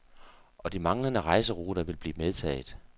Og de manglende rejseruter vil blive medtaget.